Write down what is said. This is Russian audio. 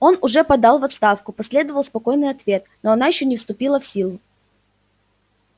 он уже подал в отставку последовал спокойный ответ но она ещё не вступила в силу